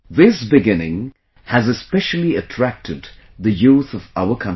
This beginning has especially attracted the youth of our country